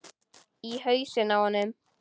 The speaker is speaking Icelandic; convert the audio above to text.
Í hausinn á honum.